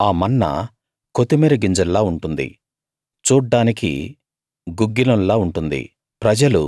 ఆ మన్నా కొత్తిమీర గింజల్లా ఉంటుంది చూడ్డానికి గుగ్గిలంలా ఉంటుంది